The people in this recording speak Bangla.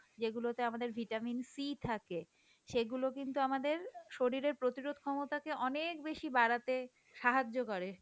যেগুলোতে আমাদের vitamin C থাকে সেগুলো কিন্তু আমাদের শরীরের প্রতিরোধ ক্ষমতাকে অনেক বেশি বাড়াতে সাহায্য করে,